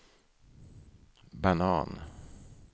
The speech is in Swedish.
banan